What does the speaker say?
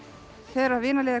þegar